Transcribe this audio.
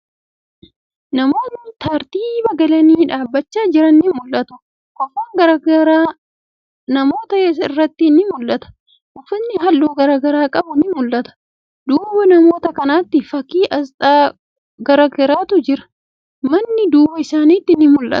Namootni tartiiba galanii dhaabbachaa jiran ni mul'atu. Kofoon garagaraa namoota irratti ni mul'ata. Uffatni haalluu garagaraa qaban ni mul'atu. Duuba namoota kanaatti, fakkii aasxaa garagaraatu jira. Manni duuba isaanitti ni mul'ata.